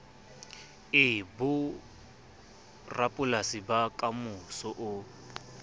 be borapolasi ba kamoso o